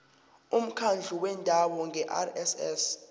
umkhandlu wendawo ngerss